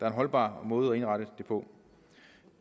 en holdbar måde at indrette det på